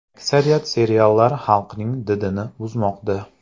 Aksariyat seriallar xalqning didini buzmoqda.